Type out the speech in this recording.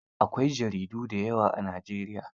Akwai jaridu da yawa a Najeriya.